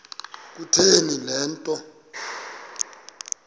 kutheni le nto